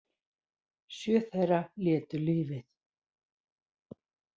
Sjö þeirra létu lífið